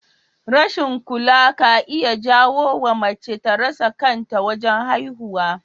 Rashin kula ka iya jawowa mace ta rasa kanta wajen haihuwa